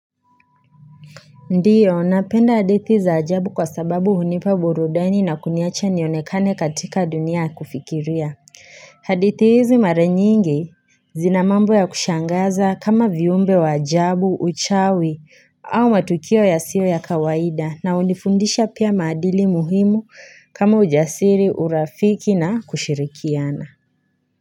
Ndio, napenda hadithi za ajabu kwa sababu hunipa burudani na kuniacha nionekane katika dunia ya kufikiria. Hadithi hizi mara nyingi zina mambo ya kushangaza kama viumbe wa ajabu, uchawi au matukio yasio ya kawaida na hunifundisha pia madili muhimu kama ujasiri, urafiki na kushirikiana.